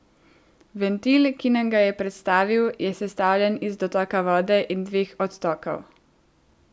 Ventil, ki nam ga je predstavil, je sestavljen iz dotoka vode in dveh odtokov.